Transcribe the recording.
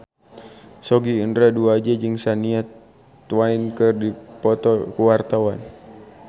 Sogi Indra Duaja jeung Shania Twain keur dipoto ku wartawan